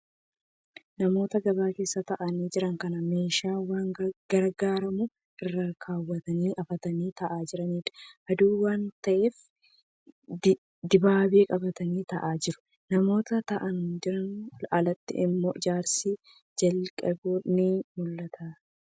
Namoota gabaa keessa taa'anii jiran, kan meeshaa waan gurguramu irra kaawwatan hafatanii taa'aa jiranidha. Aduu waan ta'eef dibaabee qabatanii taa'aa jiru. Namoota taa'anii jiraniin alatti immoo ijaarsi jalqabeeru ni mul'ata.